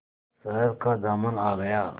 शहर का दामन आ गया